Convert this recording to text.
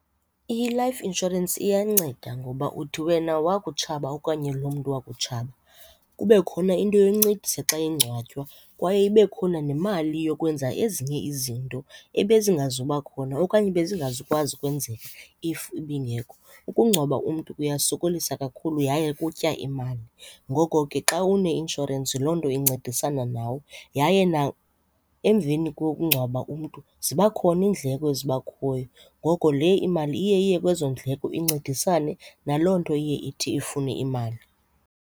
I-life insurance iyanceda ngoba uthi wena wakutshaba okanye loo mntu wakutshaba kube khona into yoncedisa xa engcwatywa kwaye ibe khona nemali yokwenza ezinye izinto ebezingazuba khona okanye bezingazukwazi ukwenzeka if ibingekho. Ukungcwaba umntu kuyasokolisa kakhulu yaye kutya imali. Ngoko ke xa uneinshorensi loo nto incedisana nawe. Yaye emveni kokukungcwaba umntu ziba khona iindleko eziba khoyo. Ngoko le imali iye iye kwezo ndleko incedisane naloo nto iye ithi ifune imali.